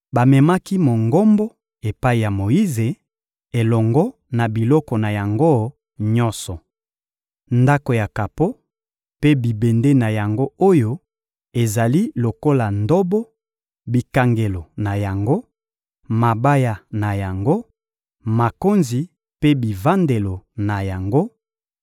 Bamemaki Mongombo epai ya Moyize, elongo na biloko na yango nyonso: ndako ya kapo mpe bibende na yango oyo ezali lokola ndobo, bikangelo na yango, mabaya na yango, makonzi mpe bivandelo na yango,